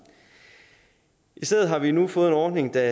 i stedet har vi nu fået en ordning der